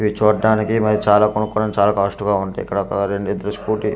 ఇవి చూడ్డానికి మరియు చాలా కొనుక్కోడానికి చాలా కాస్ట్ గా ఉంటాయి ఇక్కడ ఒక స్కూటీ--